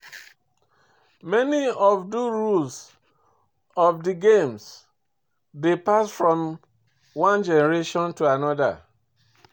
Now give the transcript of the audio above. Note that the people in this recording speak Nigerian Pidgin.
Many of do rules of di games dey passed down from one gemeration to anoda